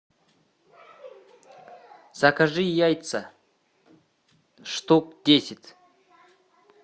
закажи яйца штук десять